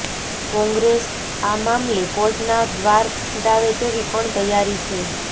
કોંગ્રેસ અા મામલે કોર્ટના દ્રાર ખખડાવે તેવી પણ તૈયારી છે